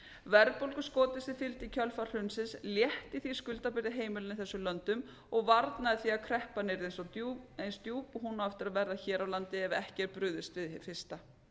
verðbólguskotið sem fylgdi í kjölfar hrunsins létti því skuldabyrði heimilanna í þessum löndum og varnaði því að kreppan yrði eins djúp og hún á eftir að verða hér á landi ef ekki er brugðist við hið fyrsta